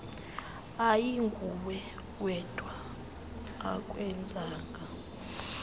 ayinguwe wedwa akwenzanga